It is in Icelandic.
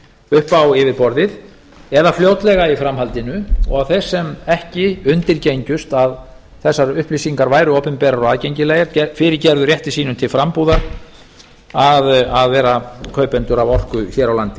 upp á yfirborðið eða fljótlega í framhaldinu og þeir sem ekki undirgengust að þessar upplýsingar væru opinberar og aðgengilegar fyrirgera rétti sínum til frambúðar að vera kaupendur að orku hér á landi